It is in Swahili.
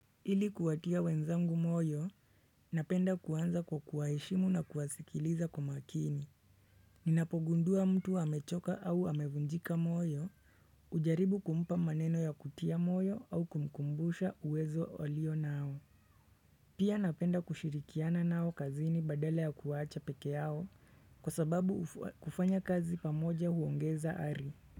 Ili kuwatia wenzangu moyo, napenda kuanza kwa kuwaheshimu na kuwasikiliza kwa makini. Ninapogundua mtu amechoka au amevunjika moyo, hujaribu kumpa maneno ya kutia moyo au kumkumbusha uwezo alionao. Pia napenda kushirikiana nao kazini badala ya kuwaacha pekee yao kwa sababu kufanya kazi pamoja huongeza ari.